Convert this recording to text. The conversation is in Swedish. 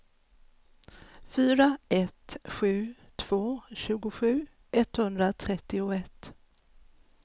fyra ett sju två tjugosju etthundratrettioett